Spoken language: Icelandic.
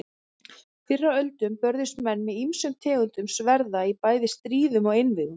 Fyrr á öldum börðust menn með ýmsum tegundum sverða í bæði stríðum og einvígum.